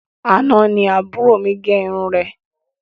Àna ní àbúrò mí gẹ irun rẹ